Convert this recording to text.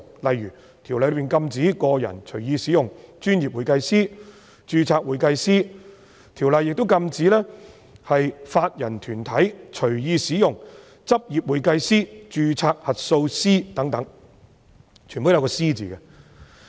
例如，《條例》禁止個人隨意使用"專業會計師"及"註冊會計師"，亦禁止法人團體隨意使用"執業會計師"、"註冊核數師"等。